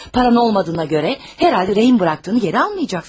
Pulun olmadığına görə, yəqin ki, girov qoyduğunu geri almayacaqsan.